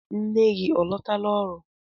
Nne gị ọ lọtala ọrụ?